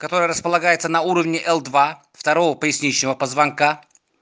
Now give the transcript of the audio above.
который располагается на уровне л-два второго поясничного позвонка